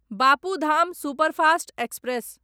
Bapu Dham superfast express